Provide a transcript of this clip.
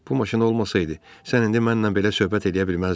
Bu maşın olmasaydı, sən indi mənlə belə söhbət eləyə bilməzdin.